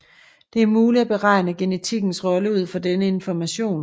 Det er muligt at beregne genetikkens rolle ud fra denne information